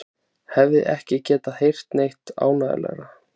Hefði ekki getað heyrt neitt ánægjulegra.